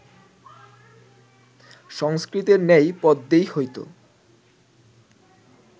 সংস্কৃতের ন্যায় পদ্যেই হইত